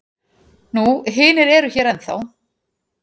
Nú hinir eru hér ennþá.